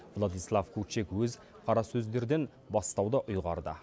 владислав кучик өз қарасөздерден бастауды ұйғарды